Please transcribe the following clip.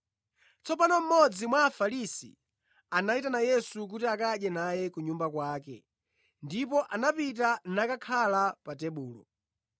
Tsopano mmodzi mwa Afarisi anayitana Yesu kuti akadye naye ku nyumba kwake ndipo anapita nakakhala pa tebulo.